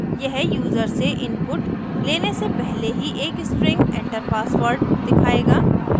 यह यूज़र से input लेने से पहले ही एक string enter password: दिखायेगा